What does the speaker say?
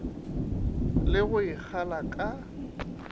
le go e kgala ka